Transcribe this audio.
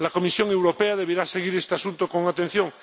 La Comisión Europea deberá seguir este asunto con atención.